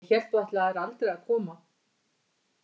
Ég hélt þú ætlaðir aldrei að koma.